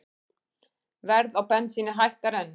Verð á bensíni hækkar enn